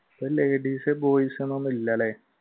ഇപ്പൊ ladies, boys എന്നൊന്നും ഇല്ലല്ലേ?